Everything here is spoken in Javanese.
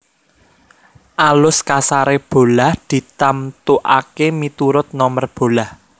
Alus kasaré bolah ditamtukaké miturut nomer bolah